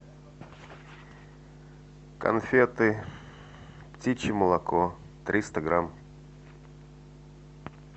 конфеты птичье молоко триста грамм